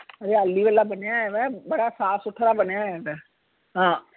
ਹਰਿਆਲੀ ਵਾਲਾ ਬਣਿਆ ਹੋਇਆ ਵਾ ਬੜਾ ਸਾਫ ਸੁਥਰਾ ਬਣਿਆ ਹੋਇਆ ਵਾ ਹਾਂ